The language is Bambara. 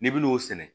N'i bin'o sɛnɛ